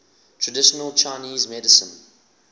traditional chinese medicine